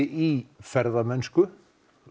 í ferðamennsku